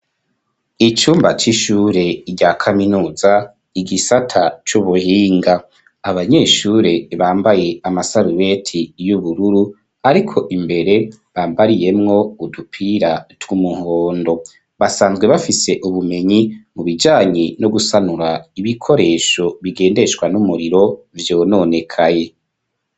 Icumba c'ishure rya kaminuza igisata c'ubuhinga abanyeshure bambaye amasarubeti y'ubururu ariko imbere bambariyemwo udupira tw'umuhondo basanzwe bafise ubumenyi mu bijanye no gusanura ibikoresho bigendeshwa n'umuriro vyononekaye.